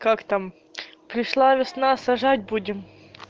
как там пришла весна сажать будем